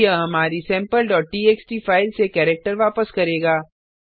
अब यह हमारी sampleटीएक्सटी फाइल से कैरेक्टर वापस करेगा